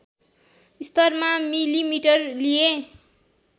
स्तरमा मिलिमिटर लिए